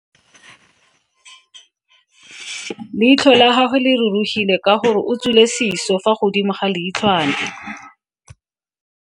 Leitlho la gagwe le rurugile ka gore o tswile siso fa godimo ga leitlhwana.